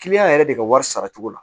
yɛrɛ de ka wari sara cogo la